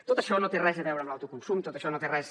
tot això no té res a veure amb l’autoconsum tot això no té res